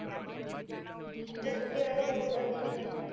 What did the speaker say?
ਮਤਲਬ ਕੀ ਉਹਨਾ ਦਾ ਖੁਦ ਦਾ business ਏ